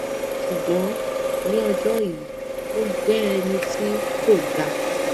ṣùgbọn ní ọjọ yìí ó jẹ ẹni tí kò dáa